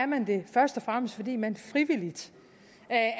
man det først og fremmest fordi man frivilligt